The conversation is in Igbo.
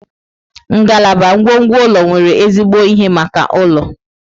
Ngalaba ngwongwo ụlọ nwere ezigbo ihe maka ụlọ.